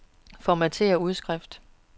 Formatér udskrift.